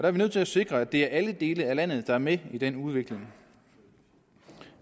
er vi nødt til at sikre at det er alle dele af landet der er med i den udvikling